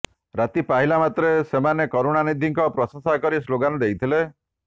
ରାତି ପାହିଲା ମାତ୍ରେ ସେମାନେ କରୁଣାନିଧିଙ୍କୁ ପ୍ରଶଂସା କରି ସ୍ଲୋଗାନ୍ ଦେଇଥିଲେ